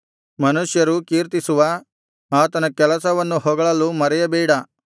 ಮನುಷ್ಯರು ಕೀರ್ತಿಸುವ ಆತನ ಕೆಲಸವನ್ನು ಹೊಗಳಲು ಮರೆಯಬೇಡ